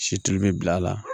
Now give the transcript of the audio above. Si tulu bɛ bila a la